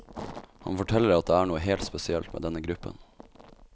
Han forteller at det er noe helt spesielt med denne gruppen.